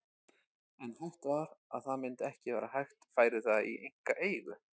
En hætt var við að það myndi ekki vera hægt færi það í einkaeigu.